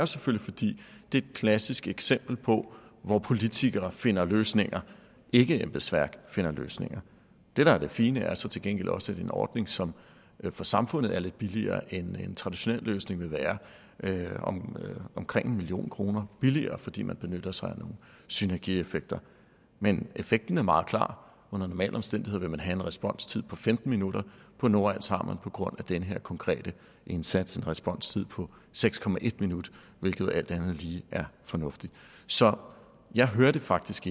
selvfølgelig fordi det er et klassisk eksempel på hvor politikere finder løsninger at ikkeembedsværk finder løsninger det der er det fine er så til gengæld også en ordning som for samfundet er lidt billigere end en traditionel løsning vil være nemlig omkring en million kroner billigere fordi man benytter sig af nogle synergieffekter men effekten er meget klar under normale omstændigheder vil man have en responstid på femten minutter på nordals har man på grund af den her konkrete indsats en responstid på seks minutter hvilket alt andet lige er fornuftigt så jeg hørte faktisk